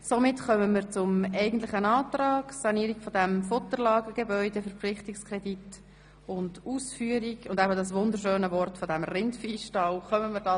Somit kommen wir zum eigentlichen Antrag, dem Verpflichtungskredit für den Ersatzneubau des Rindviehstalls und die Sanierung des Futterlagergebäudes.